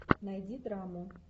найди драму